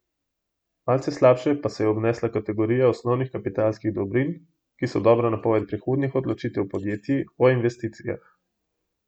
Malce slabše pa se je obnesla kategorija osnovnih kapitalskih dobrin, ki so dobra napoved prihodnjih odločitev podjetij o investicijah.